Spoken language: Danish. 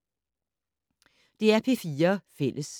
DR P4 Fælles